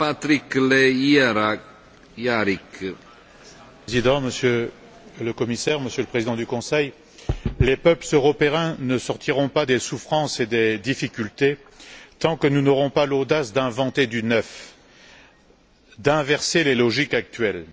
Monsieur le Président, Monsieur le Commissaire, Monsieur le Président du Conseil, les peuples européens ne sortiront pas de leurs souffrances et de leurs difficultés tant que nous n'aurons pas l'audace d'inventer du neuf, d'inverser les logiques actuelles.